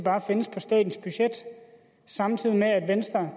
findes på statens budget samtidig